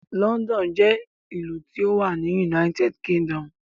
London jẹ́ ìlú tí ó wà ní United Kingdom.